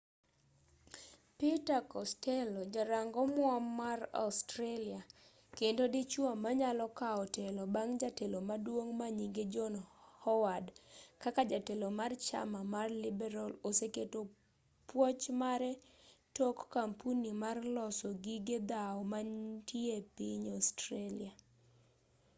peter costello ja rang omuom mar australia kendo dichuo manyalo kaw telo bang' jatelo maduong' manyinge john howard kaka jatelo mar chama mar liberal oseketo puoch mare tok kampuni mar loso gige dhawo mantie piny australia